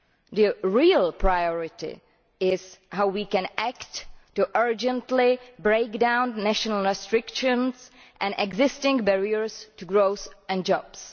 The real priority is how we can act to urgently break down national restrictions and existing barriers to growth and jobs.